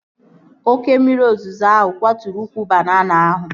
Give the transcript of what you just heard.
Oke mmiri ozuzo ahụ kwaturu ukwu banana ahụ